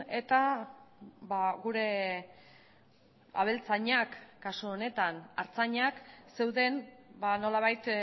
eta gure abeltzainak kasu honetan artzainak zeuden nolabait